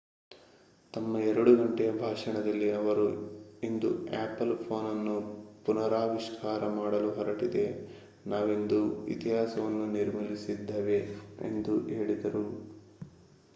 ತಮ್ಮ 2 ಗಂಟೆಯ ಭಾಷಣದಲ್ಲಿ ಅವರು ಇಂದು ಆಪಲ್ ಫೋನನ್ನು ಪುನರಾವಿಷ್ಕಾರ ಮಾಡಲು ಹೊರಟಿದೆ ನಾವಿಂದು ಇತಿಹಾಸವನ್ನು ನಿರ್ಮಿಸಲಿದ್ದೇವೆ ಎಂದು ಹೇಳಿದರು